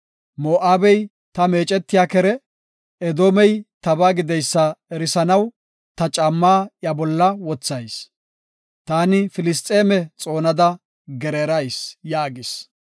Moo7abey ta meecetiya kere; Edoomey tabaa gideysa erisanaw, ta caammaa iya bolla wothayis; taani Filisxeeme xoonada gereerayis” yaagis.